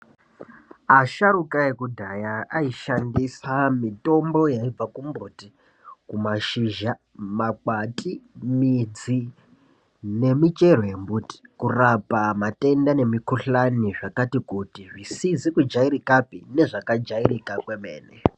Asharuka ekudhaya ayishandisa mitombo yaibva kumbuti nashizha makwati midz nemichero yembiti kurapa matenda ne mukuhlani zvakati kuti zvisizi kujairikapi nezvakajairika kwemene.